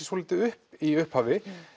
svolítið upp í upphafi